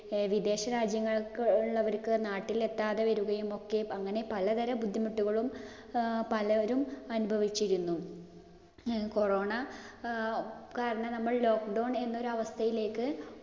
വിദേശരാജ്യങ്ങളിൽ ഉള്ളവർക്ക് നാട്ടിലെത്താതെ വരികയും ഒക്കെ അങ്ങനെ പലതരം ബുദ്ധിമുട്ടുകളും പലരും അനുഭവിച്ചിരുന്നു. corona കാരണം നമ്മൾ lockdown എന്ന ഒരു അവസ്ഥയിലേക്ക്